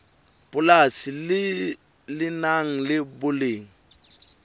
polasi le nang le boleng